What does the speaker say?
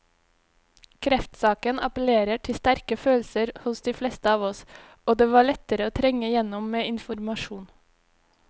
Kreftsaken appellerer til sterke følelser hos de fleste av oss, og det var lettere å trenge igjennom med informasjon.